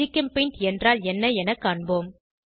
GChemPaint என்றால் என்ன என காண்போம்